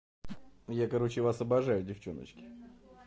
я короче вас обожаю девчоночки